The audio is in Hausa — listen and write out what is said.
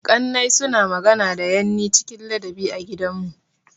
Ƙannai suna magana da yanni cikin ladabi a gidanmu.